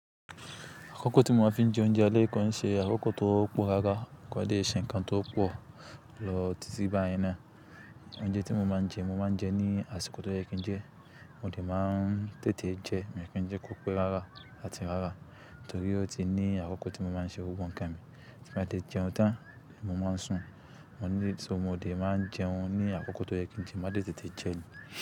Akọ́kọ́ tí mo máa ń fi jẹ oúnjẹ alẹ́ kan ṣe akọ́kọ́ tó pọ̀ rárá kò ń dẹ̀ ṣe ǹ kan tó pọ̀ lọ títí báyẹn náà. Oúnjẹ tí mo máa ń jẹ, mo máa ń jẹ ní àsìkò tó yẹ kí n jẹ, mo dẹ̀ máa ń tètè jẹ, mi ò kí ń jẹ pọ̀ pẹ́ rárá àti rárá torí ó ti ní àkókò tí mo máa ń ṣe gbogbo nǹkan mi. Tí n bá ti jẹun tán, mo máa ń sùn, mo lè so mo dẹ̀ máa ń jẹun ní àkókò tó yẹ kí n jẹun, máa tètè jẹ ní.